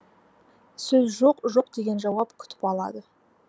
сөз жоқ жоқ деген жауап күтіп алады